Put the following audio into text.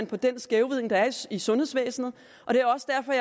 på den skævvridning der er i sundhedsvæsenet og det er også derfor